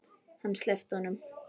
Hann sleppti honum!